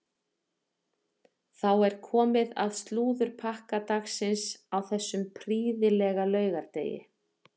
Þá er komið að slúðurpakka dagsins á þessum prýðilega laugardegi.